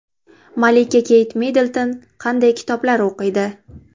Malika Keyt Middlton qanday kitoblar o‘qiydi?